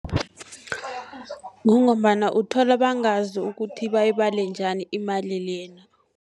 Kungombana uthola bangazi ukuthi bayibale njani imali lena.